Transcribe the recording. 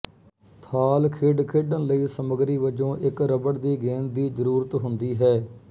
ਥਾਲ ਖੇਡ ਖੇਡਣ ਲਈ ਸਮਗਰੀ ਵਜੋਂ ਇੱਕ ਰਬੜ ਦੀ ਗੇਂਦ ਦੀ ਜਰੂਰਤ ਹੁੰਦੀ ਹੈ